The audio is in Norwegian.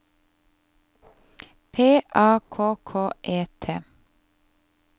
P A K K E T